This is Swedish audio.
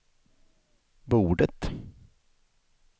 bordet